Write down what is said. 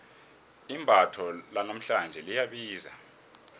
imbatho lanamhlanje liyabiza